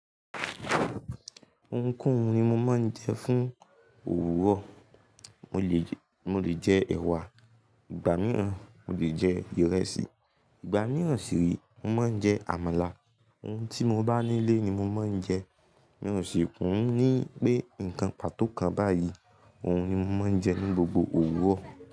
Ohunkóhun ni mo máa ń jẹ fún òwúrọ̀. Mo lè jẹ ẹ̀wà, ìgbà míìràn mo lè jẹ ìrẹsì, ìgbà míìràn sì rèé mo máa ń jẹ àmàlà. Ohun tí mo bá nílé ni mo máa ń jẹ. Mí ò sì kín ní pé nǹkan pàtó kan báyìí, òun ni mo máa ń jẹ ní gbogbo òwúrọ̀